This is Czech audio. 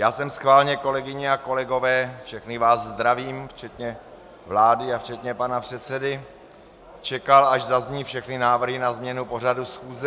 Já jsem schválně, kolegyně a kolegové - všechny vás zdravím, včetně vlády a včetně pana předsedy - čekal, až zazní všechny návrhy na změnu pořadu schůze.